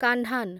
କାହ୍ନାନ୍